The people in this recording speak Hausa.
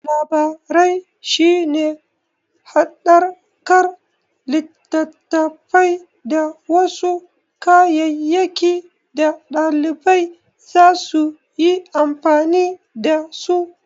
Labirari shi ne haɗakar littattafai da wasu kayayyaki da ɗalibai zasu yi amfani da su.